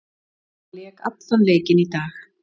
Hann lék allan leikinn í dag.